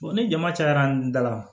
ni jama cayara da la